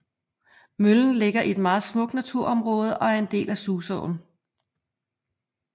Møllen ligger i et meget smukt naturområde og er en del af susåen